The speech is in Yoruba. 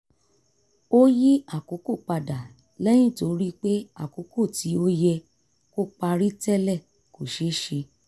ó yí àkókò padà lẹ́yìn tó rí pé àkókò tí ó yẹ kó parí tẹ́lẹ̀ kò ṣé ṣe